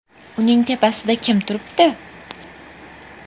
Uning tepasida kim turibdi?